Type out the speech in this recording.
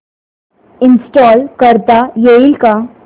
install करता येईल का